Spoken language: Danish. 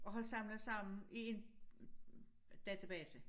Og har samlet sammen i én database